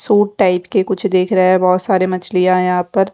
suit type के कुछ देख रहा है बहुत सारे मछलियां है यहां पर--